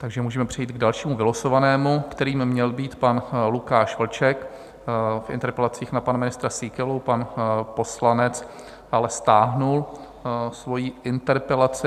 Takže můžeme přejít k dalšímu vylosovanému, kterým měl být pan Lukáš Vlček v interpelacích na pana ministra Síkelu, pan poslanec ale stáhl svoji interpelaci.